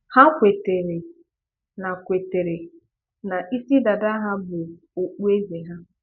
Ha kwètèrè na kwètèrè na ìsì dàdà ha bụ́ ọkpùèzè ha